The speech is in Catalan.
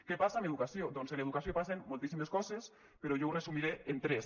què passa amb educació doncs amb educació passen moltíssimes coses però jo ho resumiré en tres